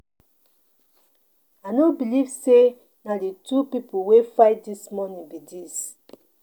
I no believe say na the two people wey fight dis morning be dis.